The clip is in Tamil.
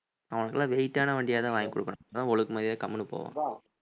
அவனுக்கெல்லாம் weight ஆன வண்டியாதான் வாங்கிக் குடுக்கணும் அப்பதான் ஒழுக்க மரியாதையா கம்முனு போவான்